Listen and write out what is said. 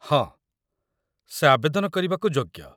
ହଁ, ସେ ଆବେଦନ କରିବାକୁ ଯୋଗ୍ୟ